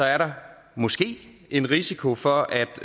er der måske en risiko for at